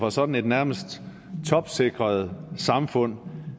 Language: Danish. af sådan et nærmest topsikret samfund